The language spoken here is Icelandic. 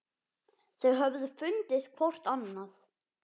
Þau höfðu fundið hvort annað.